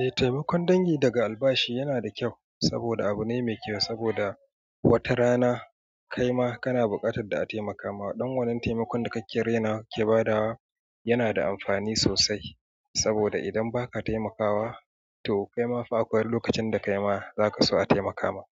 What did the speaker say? Eh taimakon dangi daga albashi yana da kyau saboda abu ne mai kyau saboda wata rana kaima kana buƙatar da a taimaka ma. Ɗan wannan taimakon da kake rainawa ka ke badawa yana da amfani sosai saboda idan ba ka taimakawa to kaima fa akwai lokacin da kaima zaka so a taimaka ma.